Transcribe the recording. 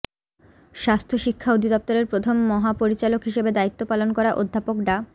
স্বাস্থ্য শিক্ষা অধিদপ্তরের প্রথম মহাপরিচালক হিসেবে দায়িত্ব পালন করা অধ্যাপক ডা